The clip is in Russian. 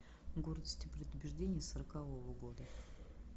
гордость и предубеждение сорокового года